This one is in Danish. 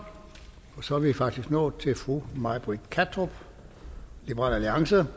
så er vi faktisk nået til fru may britt kattrup liberal alliance